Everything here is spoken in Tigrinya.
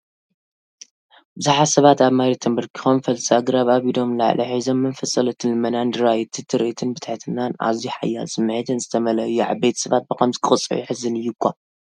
ብዙሓት ሰባት ኣብ መሬት ተንበርኪኾም፡ ፈልሲ ኣግራብ ኣብ ኢዶም ንላዕሊ ሒዞም፡ ብመንፈስ ጸሎትን ልመናን ይረኣዩ። እቲ ትርኢት ብትሕትናን ኣዝዩ ሓያል ስምዒትን ዝተመልአ እዩ ዓበይቲ ሰባት ብከምዚ ክቕፅዑ የሕዝን እዩ እኳ!